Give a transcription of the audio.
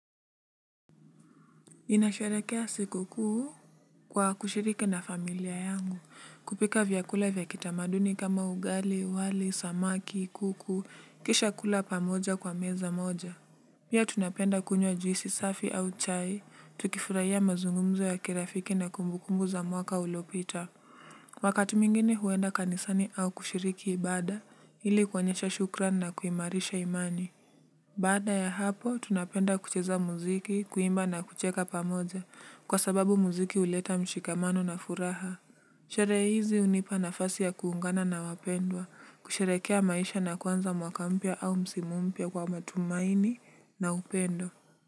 Ninasherehekea siku kuu kwa kushiriki na familia yangu kupika vyakula vya kitamaduni kama ugali wali samaki kuku kisha kula pamoja kwa meza moja pia tunapenda kunywa juisi safi au chai tukifurahia mazungumzo ya kirafiki na kumbukumbu za mwaka uliopita wakati mwingine huenda kanisani au kushiriki ibada ili kuonyesha shukrani na kuimarisha imani. Baada ya hapo, tunapenda kucheza muziki, kuimba na kucheka pamoja, kwa sababu muziki huleta mshikamano na furaha. Sherehe hizi hunipa nafasi ya kuungana na wapendwa, kusherehekea maisha na kuanza mwaka mpya au msimu mpya kwa matumaini na upendo.